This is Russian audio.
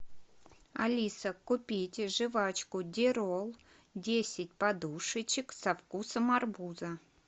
алиса купите жвачку дирол десять подушечек со вкусом арбуза